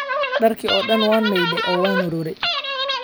Dharkii oo dhan waan maydhay oo waan waaraaay.